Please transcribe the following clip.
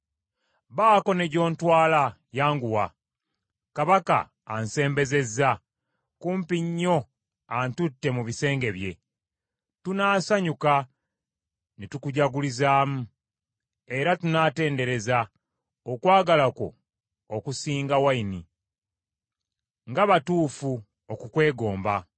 Baako ne gy’ontwala, yanguwa! Kabaka ansembezezza kumpi nnyo antutte mu bisenge bye. Abemikwano Tunaasanyuka ne tukujagulizaamu; era tunaatendereza okwagala kwo okusinga envinnyo. Omwagalwa Nga batuufu okukwegomba!